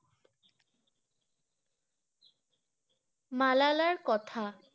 মালালার কথা